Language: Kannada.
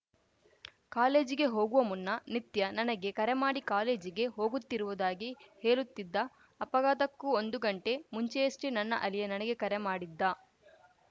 ಕಾಲೇಜಿಗೆ ಹೋಗುವ ಮುನ್ನ ನಿತ್ಯ ನನಗೆ ಕರೆ ಮಾಡಿ ಕಾಲೇಜಿಗೆ ಹೋಗುತ್ತಿರುವುದಾಗಿ ಹೇಲುತ್ತಿದ್ದ ಅಪಘಾತಕ್ಕೂ ಒಂದು ಗಂಟೆ ಮುಂಚೆಯಷ್ಟೇ ನನ್ನ ಅಲಿಯ ನನಗೆ ಕರೆ ಮಾಡಿದ್ದ